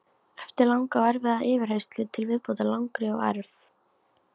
Eftir langa og erfiða yfirheyrslu til viðbótar langri og erf